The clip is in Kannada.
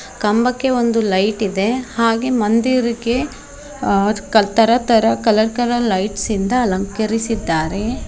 ಕಂಬಕ್ಕೆ ಒಂದು ಲೈಟ್ ಇದೆ ಹಾಗೆ ಮಂದಿರ್ಗೆ ಆ ಅದುಕ್ ತರ ತರ ಕಲರ್ ಕಲರ್ ಲೈಟ್ಸ್ ಇಂದ ಅಲಂಕರಿಸಿದ್ದಾರೆ.